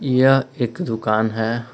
यह एक दुकान है।